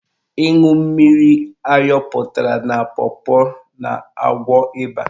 Ịṅụ mmiri ayọpụtara na pọpọ na-agwọ ịba.